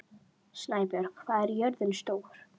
Snæbjörg, hvað er jörðin stór?